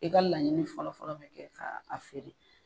I ka laɲini fɔlɔ fɔlɔ be kɛ ka feere.